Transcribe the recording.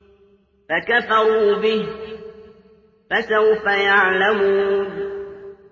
فَكَفَرُوا بِهِ ۖ فَسَوْفَ يَعْلَمُونَ